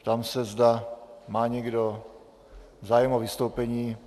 Ptám se, zda má někdo zájem o vystoupení.